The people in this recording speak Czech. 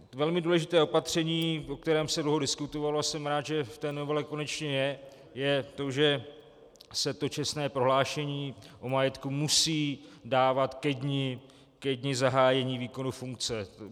Velmi důležité opatření, o kterém se dlouho diskutovalo, a jsem rád, že v té novele konečně je, je to, že se to čestné prohlášení o majetku musí dávat ke dni zahájení výkonu funkce.